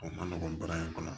O ma nɔgɔn baara in kɔnɔ